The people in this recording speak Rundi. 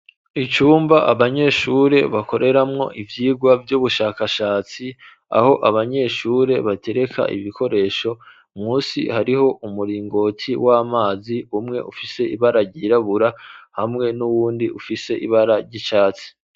Icumba abanyeshure bakoreramwo ivyigwa vy'ubushakashatsi aho abanyeshure batereka ibikoresho munsi hariho umuringoti w'amazi umwe ufise ibara ryirabura hamwe n'uwundi ufise ibara ry'icatsi.